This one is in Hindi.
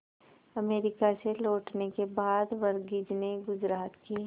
अमेरिका से लौटने के बाद वर्गीज ने गुजरात के